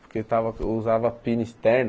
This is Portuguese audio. Porque eu estava usava pina externa.